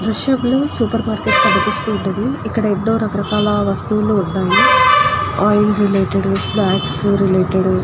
ఈ దృశ్యం లో ఒక సూపర్ మార్కెట్ కనిపిస్తుంది. ఇక్కడ ఎనో రాక రకాల వస్తువులు ఉన్నాయి. Oil related snacks related --